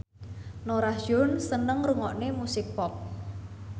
Norah Jones seneng ngrungokne musik pop